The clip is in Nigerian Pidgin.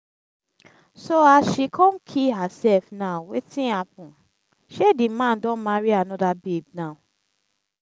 so as she come kee herself now wetin happen? shey the man don marry another babe now